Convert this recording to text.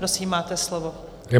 Prosím, máte slovo.